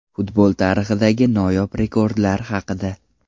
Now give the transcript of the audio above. Futbol tarixidagi noyob rekordlar haqida.